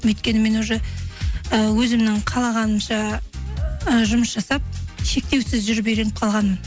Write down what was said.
өйткені мен уже ы өзімнің қалағанымша ы жұмыс жасап шектеусіз жүріп үйреніп қалғанмын